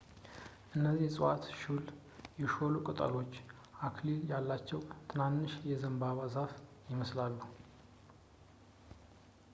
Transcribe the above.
እነዚህ ዕፅዋት ሹል ፣ የሾሉ ቅጠሎች፣ አክሊል ያላቸው ትናንሽ የዘንባባ ዛፍ ይመስላሉ